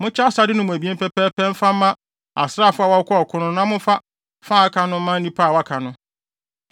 Monkyɛ asade no mu abien pɛpɛɛpɛ mfa fa mma asraafo a wɔkɔɔ ɔko no na momfa fa a aka no mma nnipa a wɔaka no.